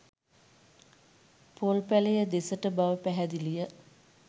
පොල් පැලය දෙසට බව පැහැදිලිය.